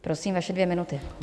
Prosím, vaše dvě minuty.